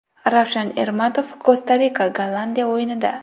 Ravshan Ermatov Kosta-Rika Gollandiya o‘yinida.